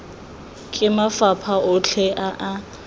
ke mafapha otlhe a a